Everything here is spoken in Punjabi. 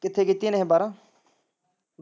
ਕਿੱਥੇ ਕੀਤੀਆ ਨੇ ਬਾਰਾਂ।